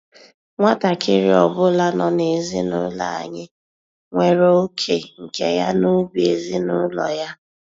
Nwatakịrị ọbụla nọ n'ezinụlọ anyị nwere oké nke ya n'ubi ezinụlọ ya.